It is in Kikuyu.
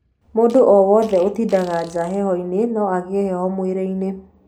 Mũndũ owothe ũtindaga nja heho-inĩ no agĩe heho mwĩrĩ-inĩ.